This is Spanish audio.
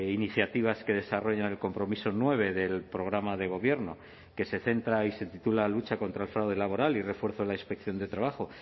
iniciativas que desarrollan el compromiso nueve del programa de gobierno que se centra y se titula lucha contra el fraude laboral y refuerzo de la inspección de trabajo